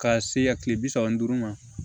Ka se ya kile bi saba ni duuru ma